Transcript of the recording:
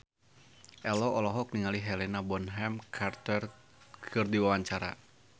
Ello olohok ningali Helena Bonham Carter keur diwawancara